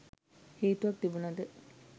හේතුවක් තිබුනද?